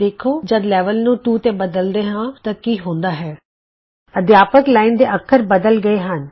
ਵੇਖੋ ਜਦ ਅਸੀਂ ਲੈਵਲ ਨੂੰ 2 ਤੇ ਬਦਲਦੇ ਹਾਂ ਤਾਂ ਕੀ ਹੁੰਦਾ ਹੈ ਅਧਿਆਪਕ ਲਾਈਨ ਦੇ ਅੱਖਰ ਬਦਲ ਗਏ ਹਨ